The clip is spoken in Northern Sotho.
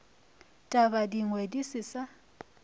taba dingwe di se sa